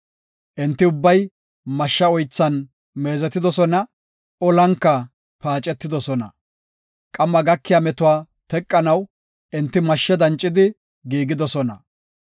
Enti ubbay mashsha oythan meezetidosona; olanka paacetidosona. Qamma gakiya metuwa teqanaw, enti mashshe dancidi giigidosona.